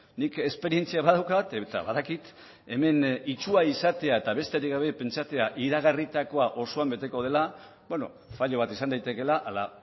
nik esperientzia badaukat eta badakit hemen itsua izatea eta besterik gabe pentsatzea iragarritakoa osoan beteko dela fallo bat izan daitekeela ala